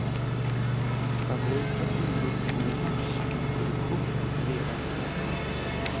Fabriken invigs nu i mars, men produktionen är redan igång.